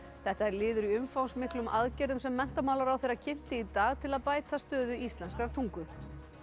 þetta er liður í umfangsmiklum aðgerðum sem menntamálaráðherra kynnti í dag til að bæta stöðu íslenskrar tungu